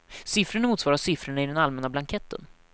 Siffrorna motsvarar siffrorna i den allmänna blanketten.